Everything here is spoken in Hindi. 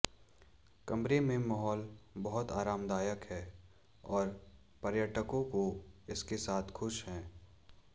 कमरे में माहौल बहुत आरामदायक है और पर्यटकों को इसके साथ खुश हैं